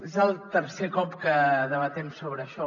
és el tercer cop que debatem sobre això